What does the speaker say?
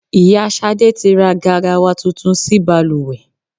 Ìyá Ṣadé tí ra garawa tuntun sí bàlùwẹ̀.